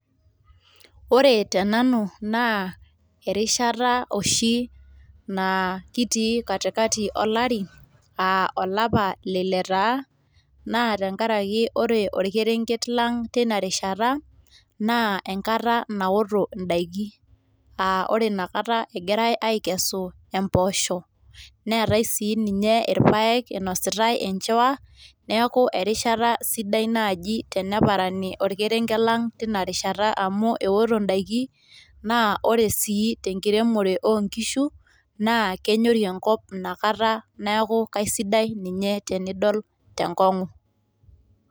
ore tenanu naa erishata oshi naa kitii katikati olari.aa olapa leile taa, naa tenkaraki ore orkerenket ang teina rishata, naa enkata naoto idaiki, aa ore inakata egirae aaekesu impoosho, negirae sii ninye aikesu irpaek, inositae e nchiwa, neeku erishata sidai naaji, teneparani orkerenket lang, teina rishaata amu ewoto daiki naa ore sii, tenkiremore oo nkishu, naa kenyori enkop teina kata, keisidai ninye tenidol tenkong'u.